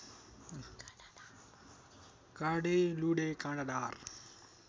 काँडे लुँडे काँडादार